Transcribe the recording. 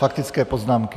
Faktické poznámky.